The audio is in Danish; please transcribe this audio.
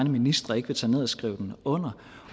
ministre ikke vil tage ned og skrive den under